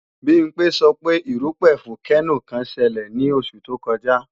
Bimpé sọ pé erúpẹ̀ fókénò kan ṣelẹ̀ ní oṣù tó kọjá